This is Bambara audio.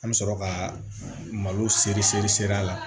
An bɛ sɔrɔ ka malo seri seri seri a la